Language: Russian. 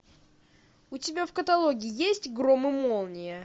у тебя в каталоге есть гром и молния